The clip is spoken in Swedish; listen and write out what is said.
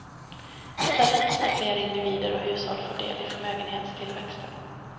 I stället måste fler individer och hushåll få del i förmögenhetstillväxten.